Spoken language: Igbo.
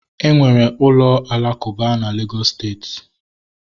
Enwere ụlọ alakuba na Legọs steeti